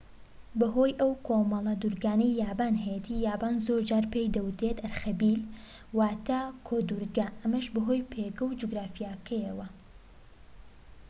بەهۆی ئەو کۆمەڵە دورگانەی یابان هەیەتی یابان زۆرجار پێی دەوترێت ئەرخەبیل واتە کۆدورگە ئەمەش بەهۆی پێگە جوگرافیەکەیەوە